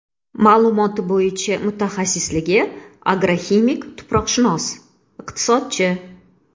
Ma’lumoti bo‘yicha mutaxassisligi agroximik-tuproqshunos, iqtisodchi.